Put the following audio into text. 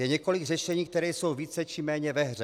Je několik řešení, která jsou více či méně ve hře.